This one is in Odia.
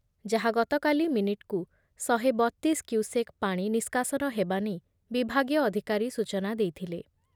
ଯାହା ଗତକାଲି ମିନିଟ୍‌କୁ ଶହେ ବତିଶ କ୍ୟୁସେକ୍ ପାଣି ନିଷ୍କାସନ ହେବା ନେଇ ବିଭାଗୀୟ ଅଧିକାରୀ ସୂଚନା ଦେଇଥିଲେ ।